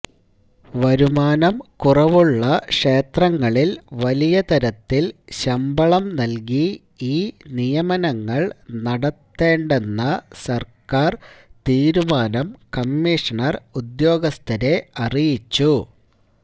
വരുമാനം കുറവുള്ള ക്ഷേത്രങ്ങളില് വലിയ തരത്തില് ശമ്പളം നല്കി ഈ നിയമനങ്ങള് നടത്തേണ്ടെന്ന സര്ക്കാര് തീരുമാനം കമ്മീഷണര് ഉദ്യോഗസ്ഥരെ അറിയിച്ചു